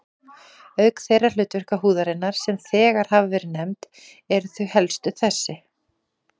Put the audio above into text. Auk þeirra hlutverka húðarinnar, sem þegar hafa verið nefnd, eru þau helstu þessi